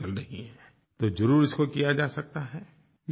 तो ज़रूर इसको किया जा सकता हैI देखिये ये बात सही है